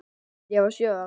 Ég var sjö ára.